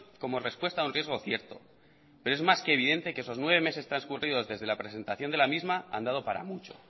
como respuesta a un riesgo cierto pero es más que evidente que esos nueve meses transcurridos desde la presentación de la misma han dado para mucho